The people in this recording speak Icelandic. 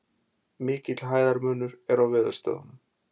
Mikill hæðarmunur er á veðurstöðvunum